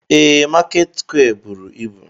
Ee, Market square buru ibu.